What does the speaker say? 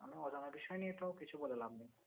কারণ অজানা বিষয় নিয়ে তো কিছু বলে লাভ নেই।